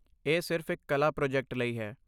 ਇਹ ਸਿਰਫ਼ ਇੱਕ ਕਲਾ ਪ੍ਰੋਜੈਕਟ ਲਈ ਹੈ।